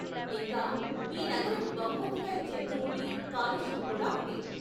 ఇంకా, ఈ నగరం బహుమతిగా ఇచ్చే ధూళి, కాలుష్యం కూడా ఉంది.